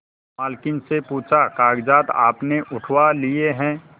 मालकिन से पूछाकागजात आपने उठवा लिए हैं